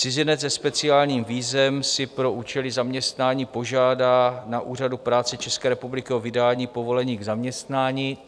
Cizinec se speciálním vízem si pro účely zaměstnání požádá na úřadu práce České republiky o vydání povolení k zaměstnání.